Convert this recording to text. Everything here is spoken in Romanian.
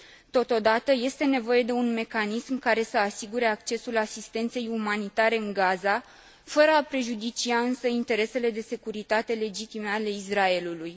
Totodată, este nevoie de un mecanism care să asigure accesul asistenței umanitare în Gaza, fără a prejudicia însă interesele de securitate legitime ale Israelului.